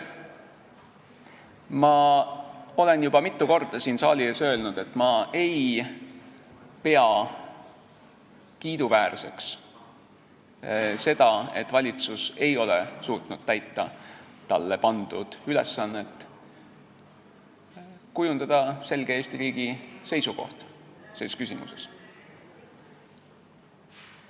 Ma olen juba mitu korda siin saali ees öelnud, et ma ei pea kiiduväärseks seda, et valitsus ei ole suutnud täita talle pandud ülesannet kujundada Eesti riigi selge seisukoht selles küsimuses.